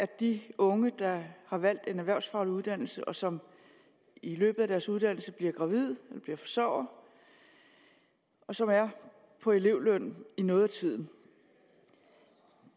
de unge der har valgt en erhvervsfaglig uddannelse og som i løbet af deres uddannelse bliver gravide og bliver forsørgere og som er på elevløn i noget af tiden